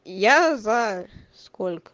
я за сколько